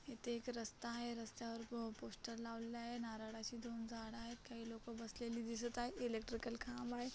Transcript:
एथे एक रस्ता आहे रस्त्यावर पोस्टर लावलेले आहे नारळाची दोन झाड आहेत काही लोक बसलेले दिसत आहेत इलेक्ट्रिकल खांब आहे.